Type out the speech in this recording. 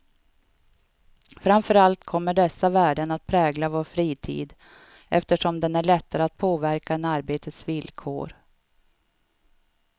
Framför allt kommer dessa värden att prägla vår fritid, eftersom den är lättare att påverka än arbetets villkor.